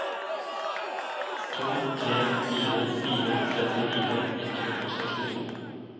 to tre fire fire trettifire ett hundre og sekstito